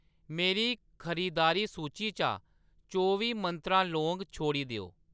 मेरी खरीदारी सूची चा चौबी मंत्रा लौंग छोड़ी देओ।